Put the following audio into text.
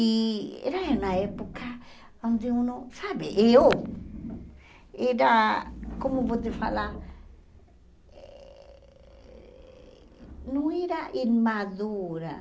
E era na época onde eu não, sabe, eu era, como vou te falar, não era imadura.